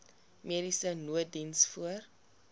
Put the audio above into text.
mediese nooddiens voor